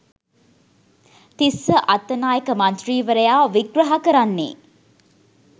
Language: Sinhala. තිස්ස අත්තනායක මන්ත්‍රීවරයා විග්‍රහ කරන්නේ